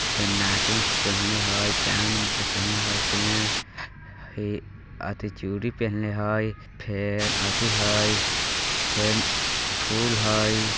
ते नाक में पहिनले हई कान में पहिनले हई फिन ये अथी चूड़ी पहिनले हई फेर अथी हई फिन फूल हई।